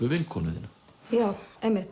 vinkonu þína já